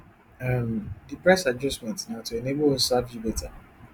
um di price adjustment na to enable us serve you beta